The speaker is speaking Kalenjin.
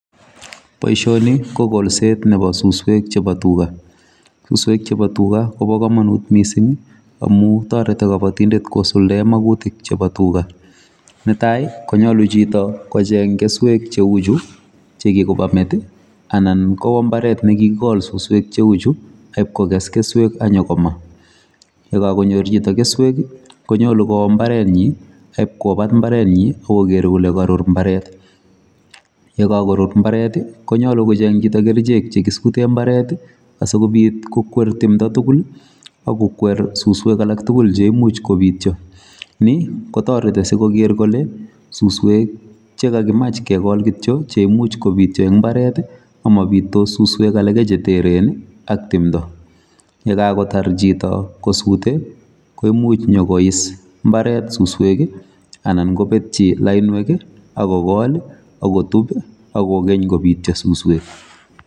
Boisioni ko koolseet nebo suswek chebo tuga. suswek chebo tuga kobo komonut mising' amu toreti kabatindet kosuldai mautik chebo tuga. Netai, konyolu chito kocheng' keswek cheuchu chekikokamet anan kowa mbaret nekikikol suswek cheuchu akokes keswek akipkokes keswek akonyo komaa, yekakonyor chito keswek, konyolu kowa mbaret nyi, akipkobat mbaret nyi, akogeer kole korur mbaret, yekakorur mbaret, konyolu kocheng' chito keswek chekisutee mbaret, asikobiit kokwer tumdo tugul akokwer suswek alak tugul cheimuch kobiityo. ni kotoreti sikogeer kole suswek chekakimach kekool kityo cheimuch kobiityo ing' mbaret amabiitos suswek alake cheteren ak tumdo. ye kakotar chito kosute koimuch nyokois mbaret suswek anan kobetchi lainwek akokool, akotub, akokeny kobiityo suswek.